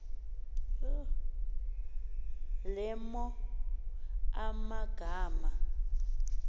le mo amagama